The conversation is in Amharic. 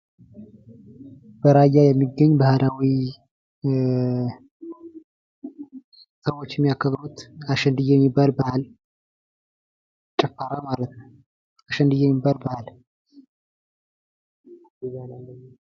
በራያ የሚገኝ ባህላዊ ሰዎች የሚያከብሩት አሸንድየ የሚባል በአል ጭፈራ ማለት ነው። አሸንድየ የሚባል በአል።